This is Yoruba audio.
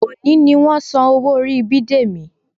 Òní ni wọ́n san owó orí Bidemi